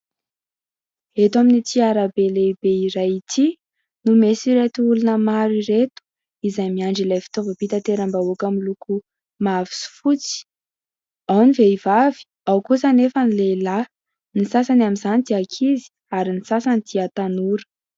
Eto amin'ity arabe lehibe iray ity no misy ireto olona maro ireto, izay miandry ilay fitaovam-pitaterambahoaka miloko mavo sy fotsy. Ao ny vehivavy, ao kosa nefa ny lehilahy. Ny sasany amin'izany dia ankizy ary ny sasany dia tanora.